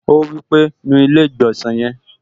Ó wí pé, "nu ilé-ìgbọ̀nsẹ̀ yẹn"